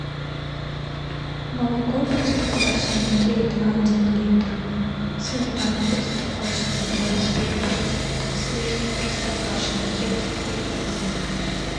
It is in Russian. молоко простоквашино три и два один литр сметана простоквашино двадцать пять процентов сливки простоквашино тридцать три процента